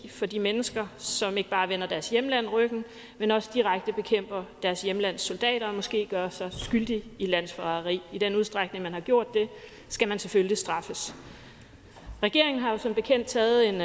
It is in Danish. for de mennesker som ikke bare vender deres hjemland ryggen men også direkte bekæmper deres hjemlands soldater og måske gør sig skyldig i landsforræderi i den udstrækning man har gjort det skal man selvfølgelig straffes regeringen har jo som bekendt taget